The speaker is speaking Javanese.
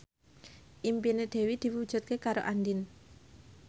impine Dewi diwujudke karo Andien